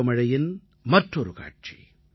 பருவமழையின் மற்றொரு காட்சி